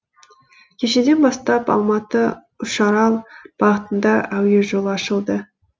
кешеден бастап алматы үшарал бағытында әуе жолы ашылды